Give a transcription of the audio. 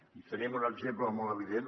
i en tenim un exemple molt evident